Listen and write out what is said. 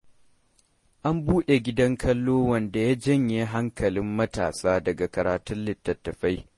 An buɗe gidan kallo wanda ya janye hankalin matasa daga karatun litattafai.